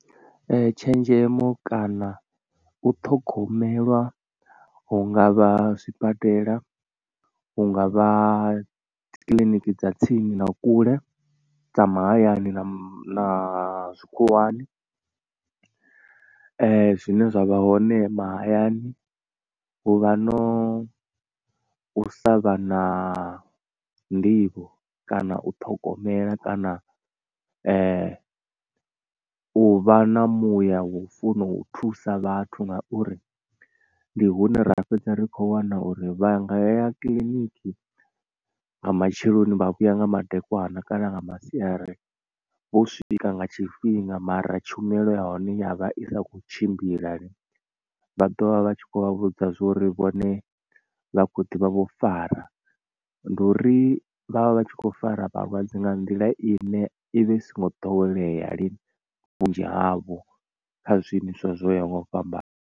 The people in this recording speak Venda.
Tshenzhemo kana u ṱhogomelwa hunga vha zwibadela, hungavha dzikiḽiniki dza tsini na kule, dza mahayani na zwikhuwani zwine zwavha hone mahayani hu vha no u sa vha na nḓivho kana u ṱhogomela kana u vha na muya vhu funa u thusa vhathu ngauri ndi hune ra fhedza ri kho wana uri vhaya nga ya kiḽiniki nga matsheloni vha vhuya nga madekwana kana nga masiari vho swika nga tshifhinga mara tshumelo ya hone yavha i sa kho tshimbila. Vha ḓovha vha tshi khou vha vhudza zwo uri vhone vha khou ḓivha vho fara ndi uri vhavha vhatshi kho fara vhalwadze nga nḓila ine ivha i so ngo ḓowelea lini vhunzhi havho kha zwiimiswa zwo yaho nga u fhambana.